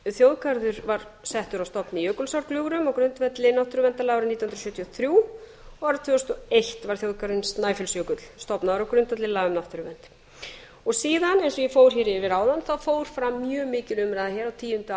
þjóðgarður var og settur á stofn í jökulsárgljúfrum á grundvelli náttúruverndarlaga árið nítján hundruð sjötíu og þrjú og árið tvö þúsund og eitt var þjóðgarðurinn snæfellsjökull stofnaður á grundvelli laga um náttúruvernd síðan eins og ég fór hér yfir áðan fór fram mjög mikil umræða á tíunda